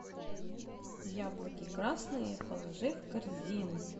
яблоки красные положи в корзину